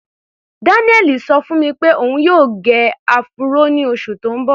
Daniel ṣọ fún mi pé òun yóò gẹ áfúró ní oṣù tí ń bọ̀.